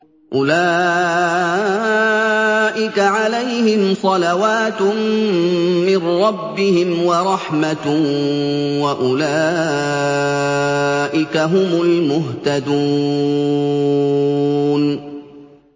أُولَٰئِكَ عَلَيْهِمْ صَلَوَاتٌ مِّن رَّبِّهِمْ وَرَحْمَةٌ ۖ وَأُولَٰئِكَ هُمُ الْمُهْتَدُونَ